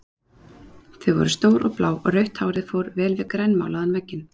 Þau voru stór og blá og rautt hárið fór vel við grænmálaðan vegginn.